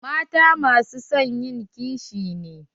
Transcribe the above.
Mata masu son ƴin ƙishi ne.